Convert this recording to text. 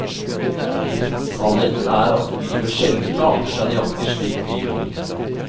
Sannheten er at livet sjelden arter seg nøyaktig slik vi vil.